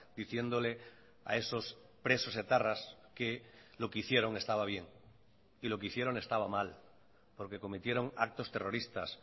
diciéndole a esos presos etarras que lo que hicieron estaba bien y lo que hicieron estaba mal porque cometieron actos terroristas